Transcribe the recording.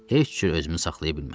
Heç cür özümü saxlaya bilmədim.